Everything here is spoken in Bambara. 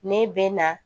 Ne bɛ na